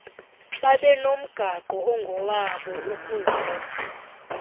babenomgaqo ongowabo ukuzed